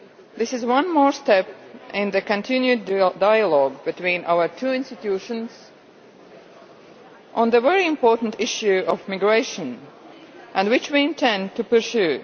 This is one more step in the continued dialogue between our two institutions on the very important issue of migration, which we intend to pursue.